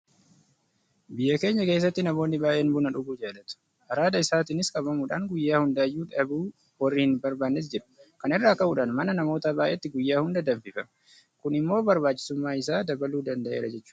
Biyya keenya keessatti namoonni baay'een buna dhuguu jaalatu. Araada isaatiinis qabamuudhaan guyyaa hundayyuu dhabuu warri hin barbaannes jiru. Kana irraa ka'uudhaan mana namoota baay'eetti guyyaa hunda danfifama. Kun immoo barbaachisummaa isaa dabaluu danda'eera jechuudha.